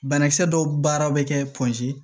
Banakisɛ dɔw baara bɛ kɛ